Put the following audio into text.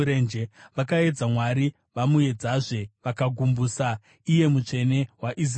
Vakaedza Mwari vamuedzazve; vakagumbusa Iye Mutsvene waIsraeri.